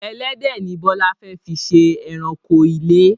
Ẹlẹ́dẹ̀ ni Bọlá fẹ fí ṣe ẹranko ilé